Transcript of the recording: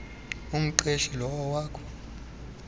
umqeshi lowo wakho